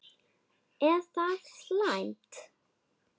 Er það slæmt?